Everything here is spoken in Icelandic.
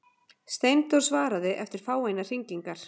Steindór svaraði eftir fáeinar hringingar.